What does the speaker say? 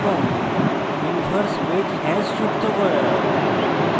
এবং inverse wedge hash যোগ করা